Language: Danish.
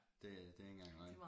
Det det ikke engang løgn